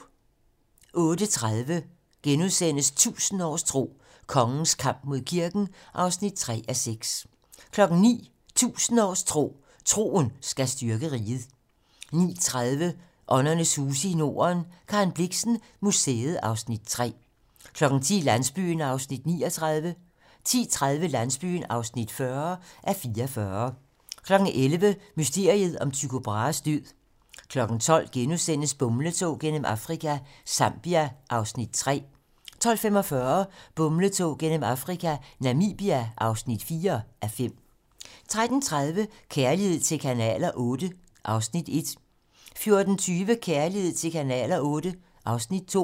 08:30: 1000 års tro: Kongens kamp mod kirken (3:6)* 09:00: 1000 års tro: Troen skal styrke riget 09:30: Åndernes huse i Norden - Karen Blixen Museet (Afs. 3) 10:00: Landsbyen (39:44) 10:30: Landsbyen (40:44) 11:00: Mysteriet om Tycho Brahes død 12:00: Bumletog gennem Afrika - Zambia (3:5)* 12:45: Bumletog gennem Afrika - Namibia (4:5) 13:30: Kærlighed til kanaler VIII (Afs. 1) 14:20: Kærlighed til kanaler VIII (Afs. 2)